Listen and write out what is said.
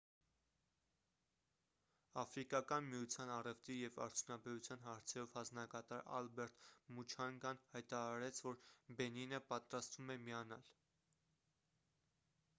աֆրիկական միության առևտրի և արդյունաբերության հարցերով հանձնակատար ալբերտ մուչանգան հայտարարեց որ բենինը պատրաստվում է միանալ :